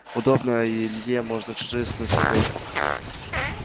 удобно и илье можно чужие сны смотреть